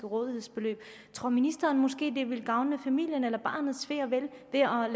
rådighedsbeløb tror ministeren måske vil gavne familien eller barnets ve og vel